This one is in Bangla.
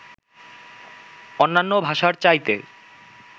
অন্যান্য ভাষার চাইতে